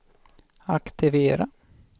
aktivera